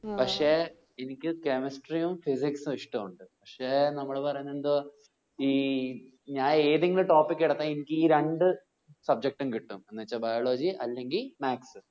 പക്ഷേ എനിക്ക് chemistry ഉം physics ഉം ഇഷ്ട്ടുണ്ട് പക്ഷെ നമ്മള് പറയുന്നേ എന്തുആ ഈ ഞാൻ ഏതെങ്കിലും topic എടുത്ത എനിക്ക് ഈ രണ്ട്‌ subject ഉം കിട്ടും എന്ന് വെച്ച biology അല്ലെങ്കി maths